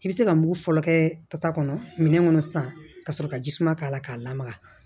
I bɛ se ka mun fɔlɔ kɛ pasa kɔnɔ minɛn kɔnɔ sisan ka sɔrɔ ka ji suma k'a la k'a lamaga